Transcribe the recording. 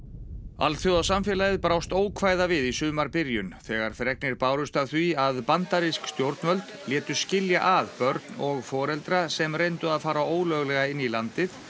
alþjóðasamfélagið brást ókvæða við í sumarbyrjun þegar fregnir bárust af því að bandarísk stjórnvöld létu skilja að börn og foreldra sem reyndu að fara ólöglega inn í landið